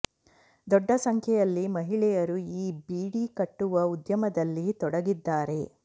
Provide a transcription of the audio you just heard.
ದೊಡ್ಡ ಸಂಖ್ಯೆಯಲ್ಲಿ ಮಹಿಳೆಯರು ಈ ಬೀಡಿ ಕಟ್ಟುವ ಉದ್ಯಮದಲ್ಲಿ ತೊಡಗಿದ್ದಾರೆ